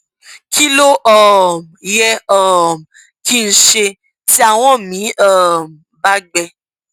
kí ló um yẹ um kí n ṣe tí ahọn mi um bá gbẹ